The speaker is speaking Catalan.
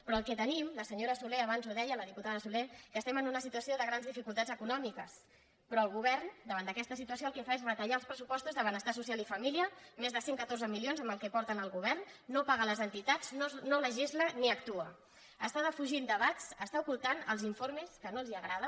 però el que tenim la senyora solé abans ho deia la diputada solé que estem en una situació de grans dificultats econòmiques però el govern davant d’aquesta situació el que fa és retallar els pressupostos de benestar social i família més de cent i catorze milions en el que porten al govern no paga les entitats no legisla ni actua està defugint debats està ocultant els informes que no li agraden